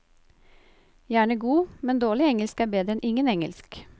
Gjerne god, men dårlig engelsk er bedre enn ingen engelsk.